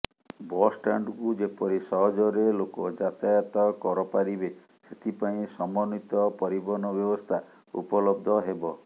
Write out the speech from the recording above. ବସଷ୍ଟାଣ୍ଡକୁ ଯେପରି ସହଜରେ ଲୋକ ଯାତାୟାତ କରପାରିବେ ସେଥିପାଇଁ ସମନ୍ବିତ ପରିବହନ ବ୍ୟବସ୍ଥା ଉପଲବ୍ଧ ହେବ